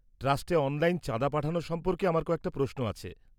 -ট্রাস্টে online চাঁদা পাঠানো সম্পর্কে আমার কয়েকটা প্রশ্ন আছে।